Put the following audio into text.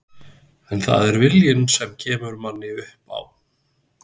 En það er viljinn sem kemur manni upp á